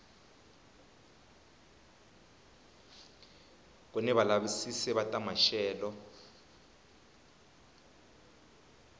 kuni valavisisi va ta maxelo